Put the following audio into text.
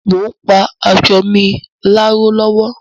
Mo ń pa aṣọ mi láró lọ́wọ́